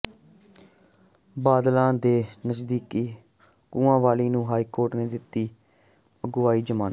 ਬਾਦਲਾਂ ਦੇ ਨਜ਼ਦੀਕੀ ਕੋਲਿਆਂਵਾਲੀ ਨੂੰ ਹਾਈਕੋਰਟ ਨੇ ਦਿੱਤੀ ਅਗਾਊਂ ਜ਼ਮਾਨਤ